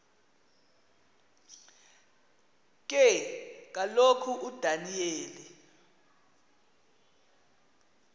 ke kaloku udaniyeli